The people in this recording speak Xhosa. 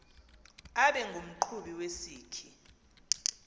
abe ngumqhubi wesikhi